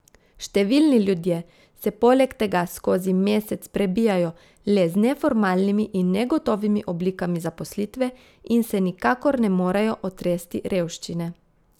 Številni ljudje se poleg tega skozi mesec prebijajo le z neformalnimi in negotovimi oblikami zaposlitve in se nikakor ne morejo otresti revščine.